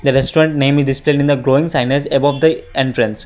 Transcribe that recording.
restaurant name is displayed in the glowing sign as above the entrance.